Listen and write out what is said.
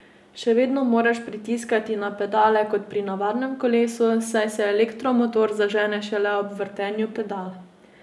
Še vedno moraš pritiskati na pedale kot pri navadnem kolesu, saj se elektromotor zažene šele ob vrtenju pedal.